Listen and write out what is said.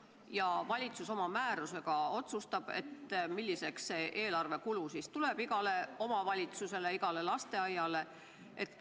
Ja valitsus oma määrusega otsustab, milliseks kujuneb eelarvekulu igale omavalitsusele, igale lasteaiale.